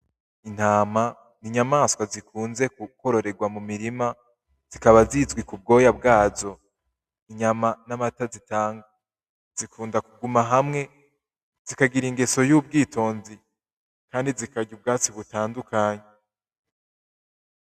Intama ni inyamaswa zikunze kwororerwa mu mirima zikaba zizwi ku bwoya bwazo, inyama n'amata zitanga, zikunda kuguma hamwe zikagira ingeso y'ubwitonzi kandi zikarya ubwatsi butandukanye